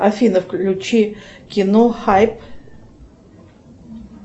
афина включи кино хайп